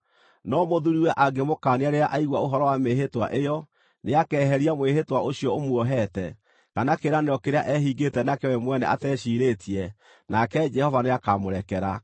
No mũthuuriwe angĩmũkaania rĩrĩa aigua ũhoro wa mĩĩhĩtwa ĩyo, nĩakeheria mwĩhĩtwa ũcio ũmuohete, kana kĩĩranĩro kĩrĩa ehingĩte nakĩo we mwene ateciirĩtie, nake Jehova nĩakamũrekera.